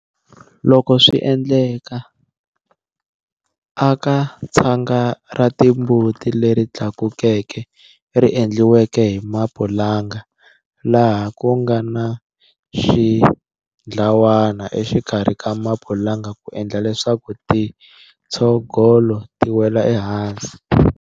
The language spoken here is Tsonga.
Loko swi endleka, aka tshanga ra timbuti leri tlakukeke ri endliweke hi mapulanga laha ku nga na xindhawana exikarhi ka mapulanga ku endla leswaku tintshogolo ti wela ehansi.